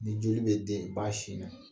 Ni joli bɛ den ba sin na